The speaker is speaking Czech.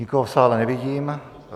Nikoho v sále nevidím.